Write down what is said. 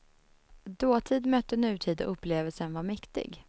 Dåtid mötte nutid och upplevelsen var mäktig.